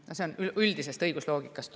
See põhimõte tuleneb üldisest õigusloogikast.